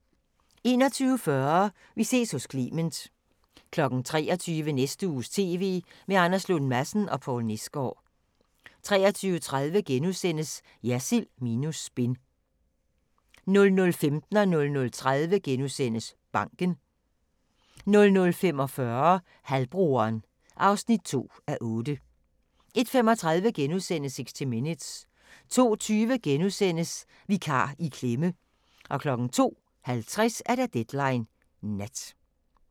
21:40: Vi ses hos Clement 23:00: Næste uges TV med Anders Lund Madsen og Poul Nesgaard 23:30: Jersild minus spin * 00:15: Banken * 00:30: Banken * 00:45: Halvbroderen (2:8) 01:35: 60 Minutes * 02:20: Vikar i klemme! * 02:50: Deadline Nat